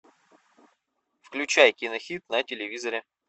включай кинохит на телевизоре